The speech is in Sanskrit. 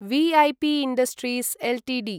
V A P industries Ltd